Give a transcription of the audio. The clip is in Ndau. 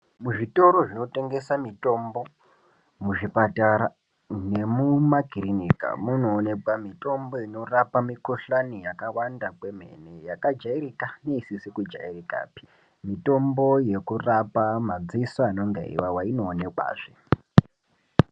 Muzvitoro zvinotengesa mitombo muzvipatara nemumakirinika munoonekwa mitombo inorapa mikuhlani yakawanda kwemene yakajairika neisizi kujairikapi. Mitombo yekurapa madziso anonga eiwawa inoonekwazve.